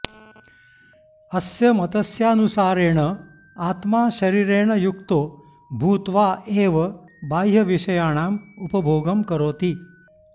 अस्य मतस्यानुसारेण आत्मा शरीरेण युक्तो भूत्वा एव बाह्यविषयाणाम् उपभोगं करोति